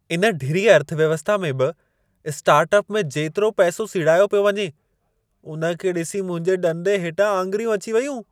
इन ढिरी अर्थव्यवस्था में बि स्टार्टअप में जेतिरो पैसो सीड़ायो पियो वञे, उन खे ॾिसी मुंहिंजे ॾंदे हेठां आङिरियूं अची वयूं।